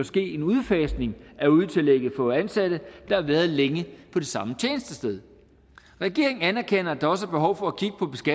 ske en udfasning af udetillægget for ansatte der har været længe på det samme tjenestested regeringen anerkender at der også er behov for